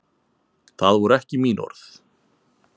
Það voru ekki mín orð